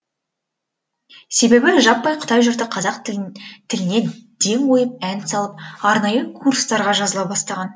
себебі жаппай қытай жұрты қазақ тіліне ден қойып ән салып арнайы курстарға жазыла бастаған